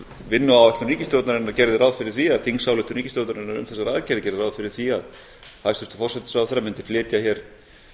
vinnuáætlun ríkisstjórnarinnar gerði ráð fyrir því að þingsályktun ríkisstjórnarinnar um einstakar aðgerðir gerðu ráð fyrir því að hæstvirtur forsætisráðherra mundi flytja hér